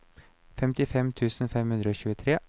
femtifem tusen fem hundre og tjuetre